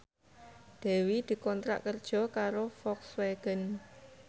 Dewi dikontrak kerja karo Volkswagen